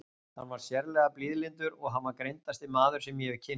Hann var sérlega blíðlyndur og hann var greindasti maður sem ég hef kynnst.